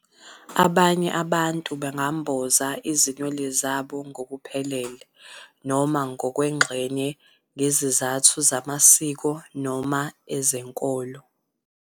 Abanye abantu bangamboza izinwele zabo ngokuphelele noma ngokwengxenye ngezizathu zamasiko noma ezenkolo.